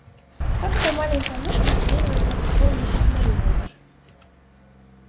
как эта маленькая мышка осмелилась дать отпор миссис мерриуэзер